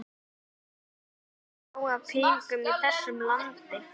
En það er til nóg af peningum í þessu landi.